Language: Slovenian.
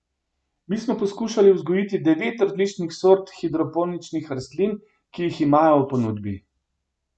Mi smo poskušali vzgojiti devet različnih sort hidroponičnih rastlin, ki jih imajo v ponudbi.